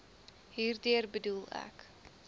hierdeur bedoel ek